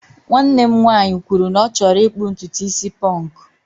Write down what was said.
nwanne m nwanyị kwuru na ọ chọrọ ịkpụ ntutu isi ponku